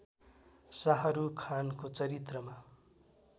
शाहरूख खानको चरित्रमा